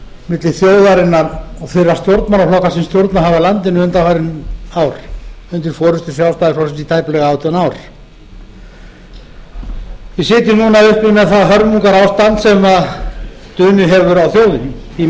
milli þjóðarinnar og þeirra stjórnmálaflokka sem stjórnað hafa landinu undanfarin ár undir forustu sjálfstæðisflokksins í tæplega átján ár við sitjum núna uppi með það hörmungarástand sem dunið hefur á þjóðinni því